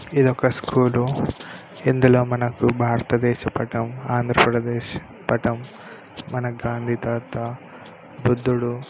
ఇది ఒక స్కూల్ ఇందులో మనకు భారత దేశ పటం ఆంధ్ర ప్రదేశ్ పటం మన గాంధీ తాత బుద్ధుడు --